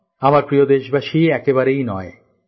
আমার প্রিয় দেশবাসী একেবারেই নয়